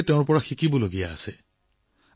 সকলোৱে তেওঁৰ পৰা শিক্ষা লোৱা উচিত